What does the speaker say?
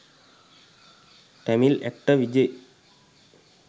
tamil actor vijay